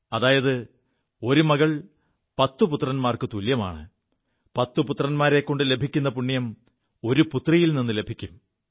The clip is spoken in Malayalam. അതായത് ഒരു മകൾ പത്തു പുത്രന്മാർക്കു തുല്യമാണ് പത്ത് പുത്രന്മാരെക്കൊണ്ടു ലഭിക്കു പുണ്യം ഒരു പുത്രിയിൽ നിു ലഭിക്കും